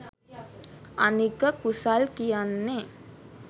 අනික කුසල් කියන්නේ